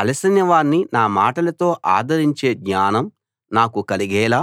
అలసినవాణ్ణి నా మాటలతో ఆదరించే జ్ఞానం నాకు కలిగేలా